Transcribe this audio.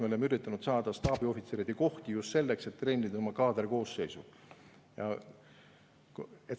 Me oleme üritanud saada staabiohvitseride kohti just selleks, et treenida oma kaaderkoosseisu.